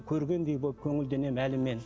көргендей боп көңілденемін әлі мен